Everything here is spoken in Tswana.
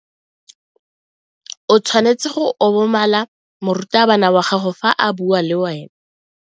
O tshwanetse go obamela morutabana wa gago fa a bua le wena.